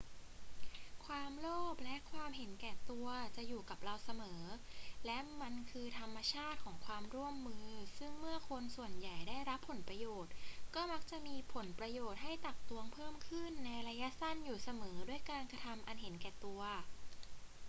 ความโลภและความเห็นแก่ตัวจะอยู่กับเราเสมอ และมันคือธรรมชาติของความร่วมมือซึ่งเมื่อคนส่วนใหญ่ได้รับผลประโยชน์ ก็มักจะมีผลประโยชน์ให้ตักตวงเพิ่มขึ้นในระยะสั้นอยู่เสมอด้วยการกระทำอันเห็นแก่ตัว